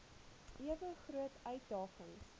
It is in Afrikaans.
ewe groot uitdagings